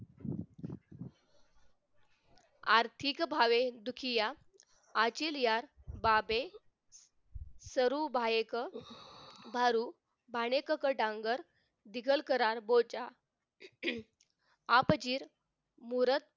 आर्थिक भावे दुखिया आचरीया बाबे सरू भायेक भारू भाडेककटांगर चिकलकरार बोचा आपची मुरत